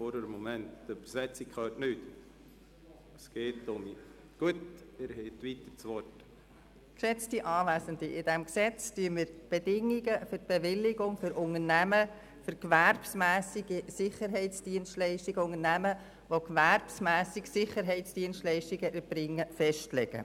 In diesem Gesetz legen wir die Bedingungen für die Bewilligung von gewerbsmässigen Sicherheitsdienstleistungen für Unternehmen fest.